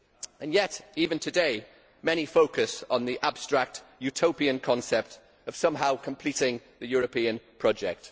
And yet even today many focus on the abstract utopian concept of somehow completing the European project.